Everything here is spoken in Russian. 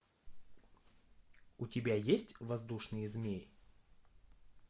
у тебя есть воздушные змеи